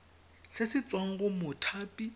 se se tswang go mothapi